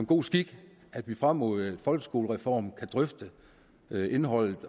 god skik at vi frem mod folkeskolereformen kan drøfte indholdet